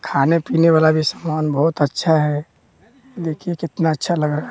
खाने पीने वाला भी सामान बहुत अच्छा है देखिए कितना अच्छा लग रहा--